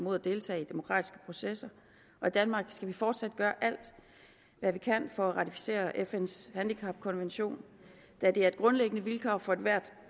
at deltage i demokratiske processer og i danmark skal vi fortsat gøre alt hvad vi kan for at ratificere fns handicapkonvention da det er et grundlæggende vilkår for ethvert